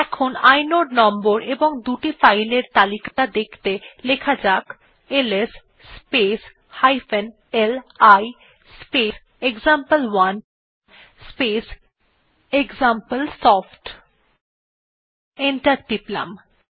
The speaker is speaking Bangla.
এখন ইনোড নম্বর এবং দুটি ফাইল এর তালিকা দেখতে লেখা যাক LS space li space example one space example soft enter টিপলাম